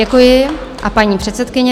Děkuji a paní předsedkyně.